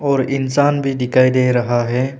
और इंसान भी दिखाई दे रहा है।